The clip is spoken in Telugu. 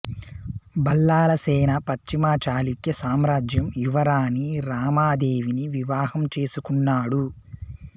బల్లాలా సేన పశ్చిమ చాళుక్య సామ్రాజ్యం యువరాణి రామదేవిని వివాహం చేసుకున్నాడు